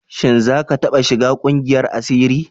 Shin za ka taɓa shiga ƙungiyar asiri?